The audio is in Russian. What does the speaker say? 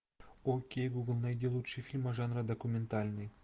окей гугл найди лучшие фильмы жанра документальный